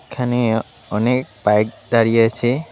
এখানে অনেক বাইক দাঁড়িয়ে আছে।